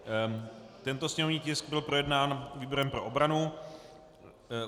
Tento sněmovní tisk byl projednán výborem pro obranu.